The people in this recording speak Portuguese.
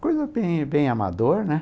Coisa bem bem amador, né?